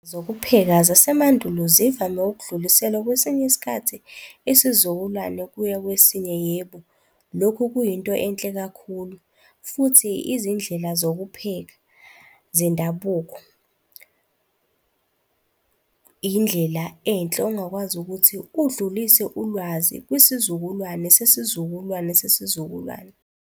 Zokupheka zasemandulo zivame ukudluliselwa kwesinye isikhathi isizukulwane kuya kwesinye. Yebo, lokhu kuyinto enhle kakhulu futhi izindlela zokupheka zendabuko , yindlela enhle ongakwazi ukuthi udlulise ulwazi kwisizukulwane sesizukulwane sesizukulwane.